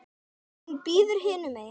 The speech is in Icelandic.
Hún bíður hinum megin.